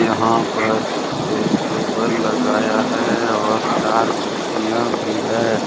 यहां पर एक टेबल लगाया है और चार कुर्सियां भी है।